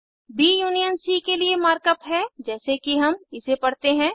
ब union C के लिए मार्क अप है जैसे कि हम इसे पड़ते हैं